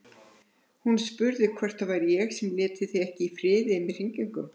Hún spurði hvort það væri ég sem léti þig ekki í friði með hringingum.